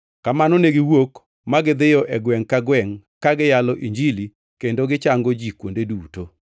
Kamano ne giwuok ma gidhiyo e gwengʼ ka gwengʼ, ka giyalo Injili kendo gichango ji kuonde duto.